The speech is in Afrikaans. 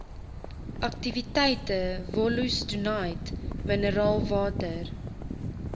aktiwiteite wollostonite mineraalwater